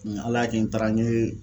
Nga ala y'a kɛ n taara n ye